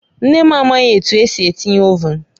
Nne m amaghị etu esi etinye Ovụn